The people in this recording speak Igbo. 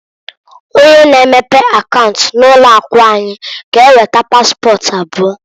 Onye na-emepe akaunt na ụlọ akụ anyị g'eweta paspọt abụọ.